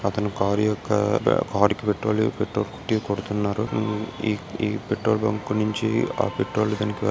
అతని కార్ యొక్క కార్ కి పెట్రోల్ పెట్రోల్ పెట్టి కొడుతున్నారు ఈ ఈ ఆ పెట్రోల్ బంక్ నుంచి ఆ పెట్రోల్ కనుక.